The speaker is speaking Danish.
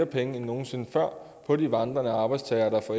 penge end nogen sinde før på de vandrende arbejdstagere der får